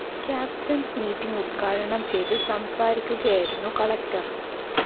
captains meeting ഉദ്ഘാടനം ചെയ്ത് സംസാരിക്കുകയായിരുന്നു കളക്ടർ